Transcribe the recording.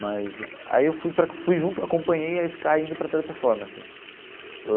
Mas aí eu fui para fui junto, acompanhei a Sky indo para a Teleperformance.